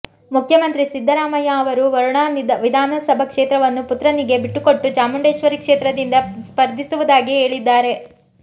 ಮುಖ್ಯಮಂತ್ರಿ ಸಿದ್ದರಾಮಯ್ಯ ಅವರು ವರುಣಾ ವಿಧಾನಸಭಾ ಕ್ಷೇತ್ರವನ್ನು ಪುತ್ರನಿಗೆ ಬಿಟ್ಟುಕೊಟ್ಟು ಚಾಮುಂಡೇಶ್ವರಿ ಕ್ಷೇತ್ರದಿಂದ ಸ್ಪರ್ಧಿಸುವುದಾಗಿ ಹೇಳಿದ್ದಾರೆ